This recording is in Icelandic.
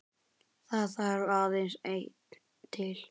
Það þarf aðeins einn til.